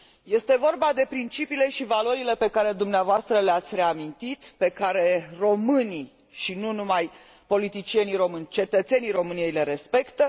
Este vorba de principiile și valorile pe care dumneavoastră le ați reamintit, pe care românii, și nu numai politicienii români, ci și cetățenii României le respectă.